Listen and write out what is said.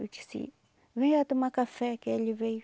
Eu disse, vem já tomar café que ele veio.